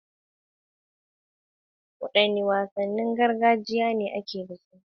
Wadanne wasannin gargajiya ne ake da su?